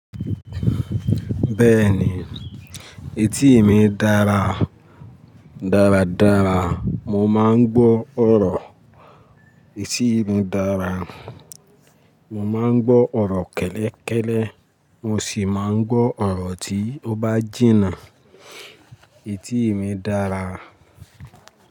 Bẹ́ẹ̀ni, etí emi dára. Daradara, mo máa ń gbọ́ ọ̀rọ̀. Etí mi dára, mo máa ń gbọ́ ọ̀rọ̀ kẹ́lẹ́kẹ́lẹ́, mo sì máa ń gbọ́ ọ̀rọ̀ tí ó bá jìnnà. Etí mi dára.